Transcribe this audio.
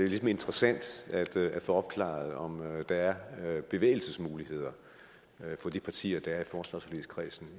lidt interessant at få opklaret om der er bevægelsesmuligheder for de partier der er i forsvarsforligskredsen